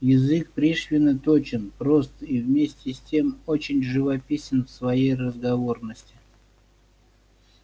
язык пришвина точен прост и вместе с тем очень живописен в своей разговорности